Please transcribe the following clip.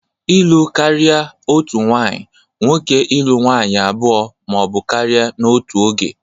Ịlụ karịa otu nwanyị nwoke ịlụ nwaanyị abụọ ma ọ bụ karịa n'otu oge.